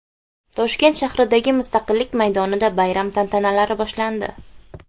Toshkent shahridagi Mustaqillik maydonida bayram tantanalari boshlandi.